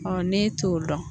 ne t'o dɔn